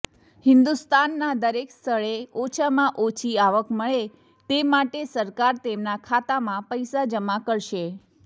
હિંદુસ્તાનના દરેક સ્થળે ઓછામાં ઓછી આવક મળે તે માટે સરકાર તેમના ખાતામાં પૈસા જમા કરશે